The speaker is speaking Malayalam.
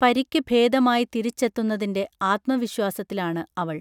പരിക്ക് ഭേദമായി തിരിച്ചെത്തുന്നതിൻറെ ആത്മ വിശ്വാസത്തിലാണ് അവൾ